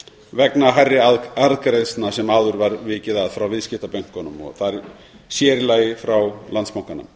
vegna hærri arðgreiðslna sem áður var vikið að frá viðskiptabönkunum sér í lagi frá landsbankanum